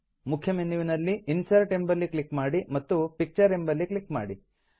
ಮುಖ್ಯ ಮೆನ್ಯುವಿನಲ್ಲಿ ಇನ್ಸರ್ಟ್ ಎಂಬಲ್ಲಿ ಕ್ಲಿಕ್ ಮಾಡಿ ಮತ್ತು ಪಿಕ್ಚರ್ ಎಂಬಲ್ಲಿ ಕ್ಲಿಕ್ ಮಾಡಿ